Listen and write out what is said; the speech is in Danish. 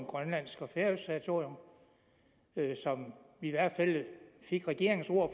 og grønlandsk og færøsk territorium som vi i hvert fald fik regeringen ord